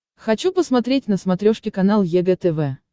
хочу посмотреть на смотрешке канал егэ тв